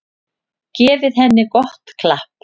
Gefið henni gott klapp.